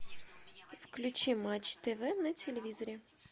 включи матч тв на телевизоре